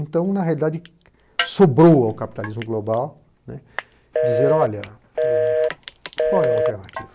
Então, na realidade, sobrou ao capitalismo global dizer, olha, qual é a alternativa?